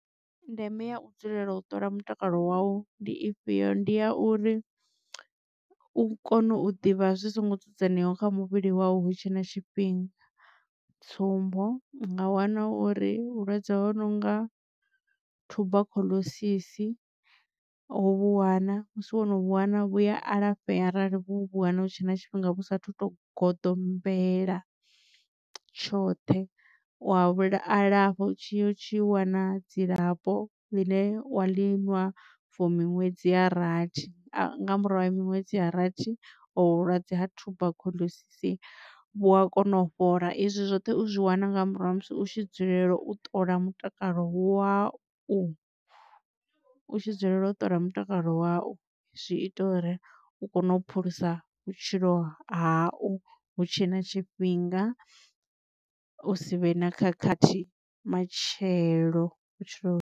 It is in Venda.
Ndeme ya u dzulela u ṱola mutakalo wau ndi ifhio? Ndi ya uri u kone u ḓivha zwi songo dzudzaneaho kha muvhili wau hutshe na tshifhinga, tsumbo unga wana uri vhulwadze ho nonga tuberculosis ho vhuwana musi wono vhuwana vhuya alafhea arali vho vha wana hu tshe na tshifhinga vhu sathu to goḓombela tshoṱhe. Wa vhu alafha tshi utshi wana dzilafho ḽine wa liṅwa for miṅwedzi ya rathi nga murahu ha miṅwedzi ya rathi ovhu vhulwadze ha tuberculosis vhu a kona u fhola. Izwi zwoṱhe uzwi wana nga murahu ha musi u tshi dzulela u ṱola mutakalo wa u u u tshi dzulela u ṱola mutakalo wau zwi ita uri u kone u phulusa vhutshilo hau hu tshe na tshifhinga u si vhe na khakhathi matshelo vhutshilo.